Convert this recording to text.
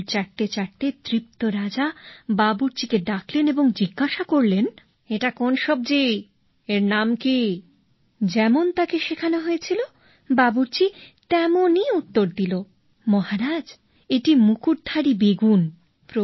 আঙ্গুল চাটতে চাটতে তৃপ্ত রাজা বাবুর্চিকে ডাকলেন এবং জিজ্ঞাসা করলেন এটা কোন সবজি এর নাম কী যেমন তাকে শেখানো হয়েছিল বাবুর্চি তেমনি উত্তর দিল মহারাজ এটি মুকুটধারী বেগুন